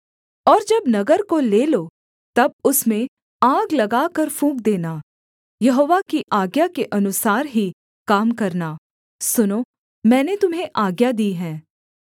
और जब नगर को ले लो तब उसमें आग लगाकर फूँक देना यहोवा की आज्ञा के अनुसार ही काम करना सुनो मैंने तुम्हें आज्ञा दी है